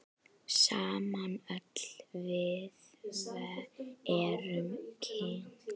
Sama öll við erum kyn.